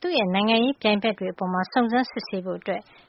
သူ့နိုင်ငံရေးပြိုင်ဘက်တွေ အပေါ်စုံစမ်းစစ်ဆေးဖို့